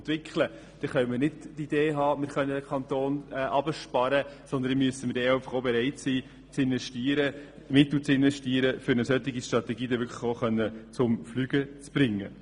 Wir können nicht die Idee haben, unseren Kanton herunterzusparen, sondern müssen auch bereit sein zu investieren, um eine solche Strategie dann wirklich zum Fliegen zu bringen.